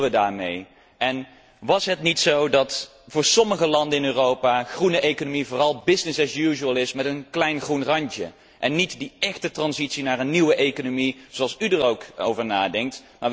Wat bedoelden wij daarmee? En was het niet zo dat voor sommige landen in Europa groene economie vooral business as usual is, met een klein groen randje, en niet die echte overgang naar een nieuwe economie, zoals u er ook over denkt.